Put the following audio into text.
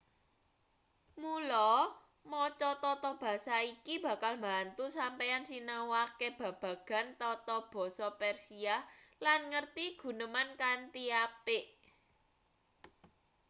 mula maca tata basa iki bakal mbantu sampeyan sinau akeh babagan tata basa persia lan ngerti guneman kanthi apik